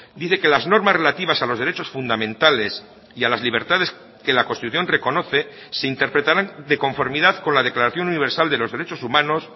dice que las normas relativas a los derechos fundamentales y a las libertades que la constitución reconoce se interpretarán de conformidad con la declaración universal de los derechos humanos